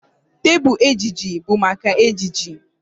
Tebụl ejiji bụ maka ejiji